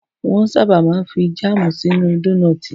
Wọ́n ṣábà máa ń fi jámù sínú dónọ̀tì.